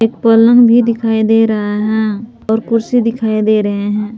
पलंग भी दिखाई दे रहा है और कुर्सी पर दिखाई दे रहे हैं।